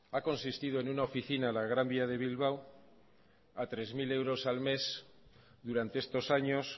ha consistido en una oficina en la gran vía de bilbao a tres mil euros al mes durante estos años